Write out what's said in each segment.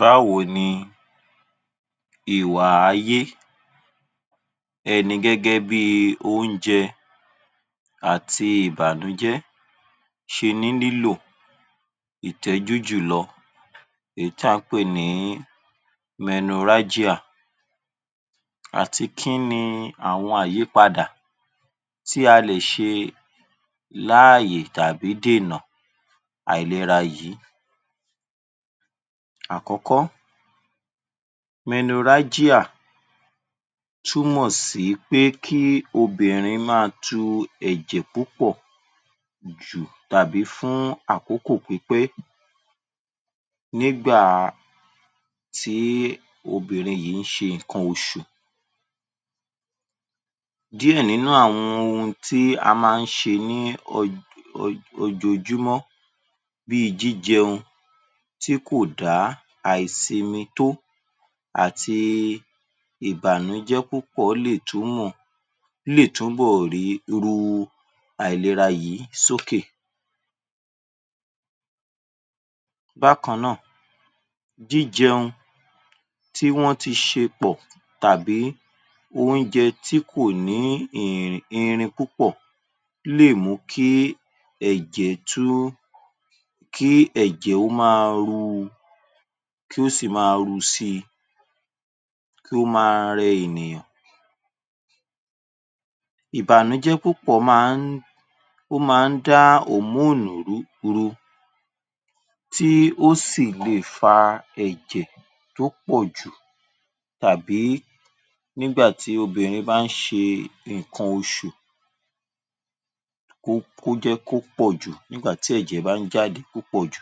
Báwo ni ìwà ayé ẹni, gẹ́gẹ́ bi oúnjẹ àti ìbànújẹ́ ṣe ní nílò ìtẹ́jú jùlọ, èyí tí à ń pè ní Menorrhagia àti kíni àwọn àyípadà tí a lè ṣe láàyè tàbí dènà àìlera yìí. Àkọ́kọ́, Menorrhagia túnmọ̀ sí pé, kí obìnrin ma tu ẹ̀jẹ̀ púpọ̀ tàbí fún àkókò pípẹ́ nígbà tí obìnrin yìí ń ṣe ǹkan oṣù, díẹ̀ nínu àwọn oun tí a ma ń ṣe ní ojo, ojojúmọ́, bíi jíjẹun tí kò da, àìsinmi tó àti ìbànújẹ́ púpọ̀ léè túnmọ̀, léè túnbọ̀ ríru àìlera yìí sókè. Bákan náà, jíjẹun tí wọ́n ti ṣe pọ̀ tàbí oúnjẹ tí kò ní irin púpọ̀ léè mú kí ẹ̀jẹ̀ tún, kí ẹ̀jẹ̀ ó ma ru, kí ó sì ma ru si, kí ó ma rẹ ènìyàn. Ìbànújẹ́ púpọ̀ ma ń, ó ma ń da hormone rú ru, tí ó sì le fa ẹ̀jẹ̀ tó pọ̀ jù tàbí nígbà tí obìnrin bá ń ṣe ǹkan oṣù, kó jẹ́ kó pọ̀ jù, nígbà tí èjẹ̀ bá ń jáde púpọ̀ jù.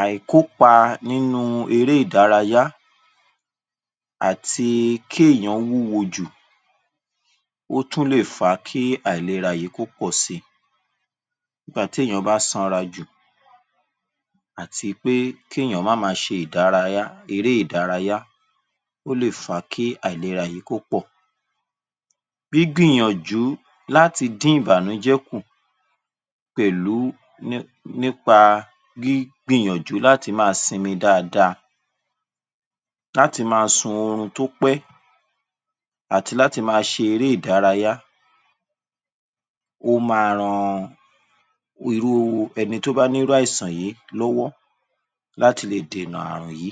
Àìkópa nínu eré ìdárayá àti kí èyán wúwo jù, ó tún lè fa kí àìlera yìí, kó pọ̀si, nígbà tí èyán bá sanra jù, àti pé kí èyán má ma ṣe ìdárayá, eré ìdárayá, ó lè fa kí àìlera yìí kó pọ̀. Gbígbín yànjú láti dín ìbànújẹ́ kù pẹ̀lú, nípa gbígbín yànjú láti ma sinmi dáada, láti ma sun orun tó pẹ́ àti láti ma ṣe eré ìdárayá, ó ma ran irúu ẹnití ó bá ní irú àìsàn yí lọ́wọ́, láti le dènà àìsàn yí.